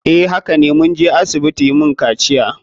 Eh hakane. Mun je asibiti yin kaciya.